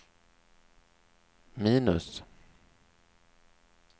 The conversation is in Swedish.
minus